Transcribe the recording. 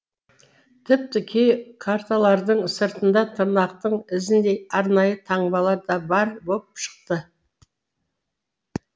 тіпті кей карталардың сыртында тырнақтың ізіндей арнайы таңбалар да бар боп шықты